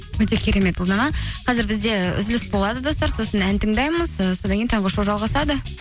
өте керемет ұлдана қазір бізде үзіліс болады достар сосын ән тыңдаймыз і содан кейін таңғы шоу жалғасады